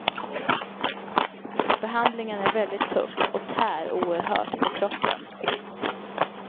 Behandlingen är väldigt tuff och tär oerhört på kroppen.